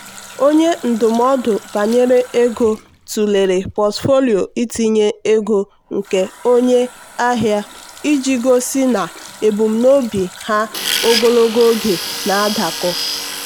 onye ndụmọdụ banyere ego tụlere pọtụfoliyo itinye ego nke onye ahịa iji gosi na ebumnobi ha ogologo oge na-adakọ.